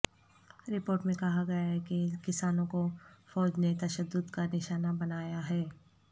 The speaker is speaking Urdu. رپورٹ میں کہا گیا ہے کہ کسانوں کو فوج نے تشدد کا نشانہ بنایا ہے